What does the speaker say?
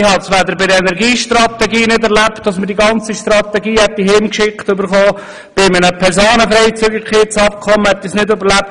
weder hat man bei der Energiestrategie die gesamte Strategie zugeschickt bekommen, noch erhielt man das gesamte Personenfreizügigkeitsabkommen.